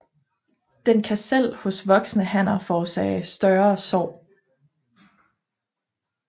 Den kan selv hos voksne hanner forårsage større sår